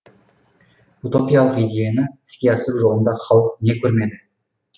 утопиялық идеяны іске асыру жолында халық не көрмеді